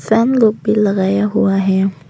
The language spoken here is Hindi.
फैन लोग भी लगाया हुआ है।